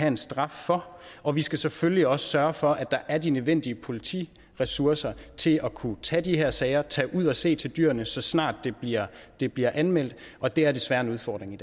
en straf for og vi skal selvfølgelig også sørge for at der er de nødvendige politiressourcer til at kunne tage de her sager tage ud at se til dyrene så snart det bliver det bliver anmeldt og det er desværre en udfordring